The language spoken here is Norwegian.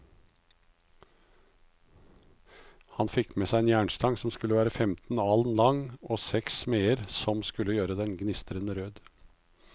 Han fikk seg en jernstang som skulle være femten alen lang, og seks smeder som skulle gjøre den gnistrende rød.